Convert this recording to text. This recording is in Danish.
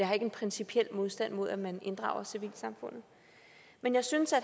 har en principiel modstand mod at man inddrager civilsamfundet men jeg synes at